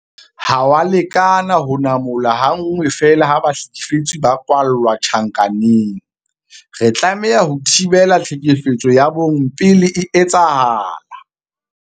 Ha ho a lekana ho namola ha nngwe feela ha bahlekefetsi ba kwalla tjhankaneng. Re tlameha ho thibela tlhekefetso ya bong pele e etsahala.